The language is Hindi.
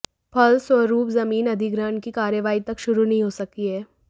फलस्व रूप जमीन अधिग्रहण की कार्रवाही तक शुरू नहीं हो सकी है